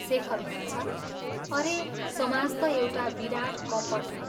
शेखर भन्छ, "अरे समाज ता एउटा विराट् कपट हो।